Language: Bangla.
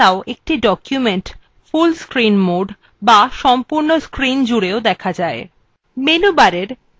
এছাড়াও একটি document full screen modeএ দেখা যায়